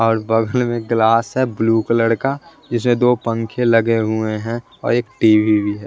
और बगल में एक ग्लास है ब्लू कलर का जिसमें दो पंखे लगे हुए हैं और एक टी_वी भी है।